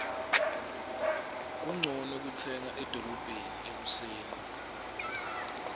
kuncono kutsenga edolobheni ekuseni